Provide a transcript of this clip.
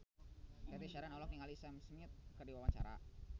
Cathy Sharon olohok ningali Sam Smith keur diwawancara